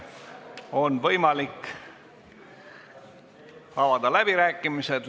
On võimalik avada läbirääkimised.